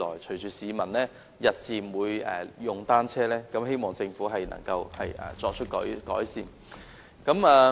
隨着市民日漸增加使用單車，我希望政府能夠就這問題作出改善。